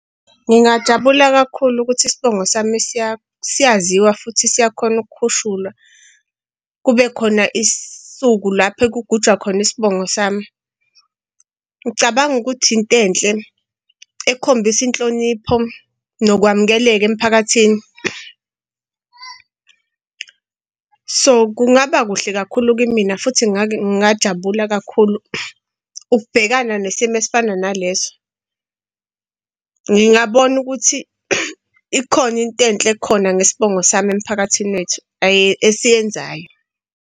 Ngingajabula kakhulu ukuthi isibongo sami siyaziwa futhi siyakhona ukukhushulwa. Kube khona isuku lapho ekugujwa khona isibongo sami. Ngicabanga ukuthi into enhle ekhombisa inhlonipho nokwamukeleka emphakathini. So kungaba kuhle kakhulu kimina futhi ngingajabula kakhulu ukubhekana nesimo esifana naleso. Ngingabona ukuthi ikhona into enhle ekhona ngesibongo sami emphakathini wethu esiyenzayo.